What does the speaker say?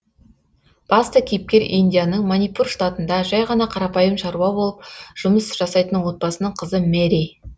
басты кейіпкер индияның манипур штатында жай ғана қарапайым шаруа болып жұмыс жасайтын отбасының қызы мэри